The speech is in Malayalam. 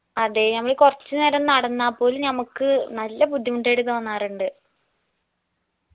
അതെ നമ്മൾ കുറച്ച് നേരം നടന്നാ പോലും നമ്മക്ക് നല്ല ബുദ്ധിമുട്ടായിട്ട് തോന്നാറുണ്ട്